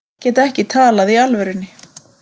Kettir geta ekki talað í alvörunni